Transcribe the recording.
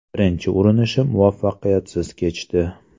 Birinchi urinishim muvaffaqiyatsiz kechdi.